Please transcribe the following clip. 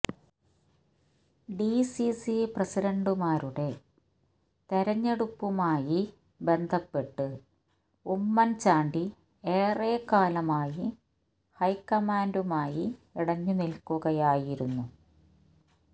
D C C പ്രസിഡന്റുമാരുടെ തെരഞ്ഞെടുപ്പുമായി ബന്ധപ്പെട്ട് ഉമ്മന്ചാണ്ടി ഏറെക്കാലമായി ഹൈക്കമാന്ഡുമായി ഇടഞ്ഞുനില്ക്കുകയായിരുന്നു